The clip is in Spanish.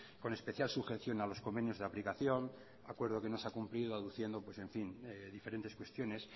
con especial sujeción a los convenios de aplicación acuerdo que no se ha cumplido aduciendo pues en fin diferentes cuestiones